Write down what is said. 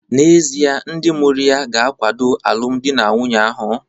N'ezie, ndị mụrụ ya ga-akwado alụmdi na nwunye ahụ?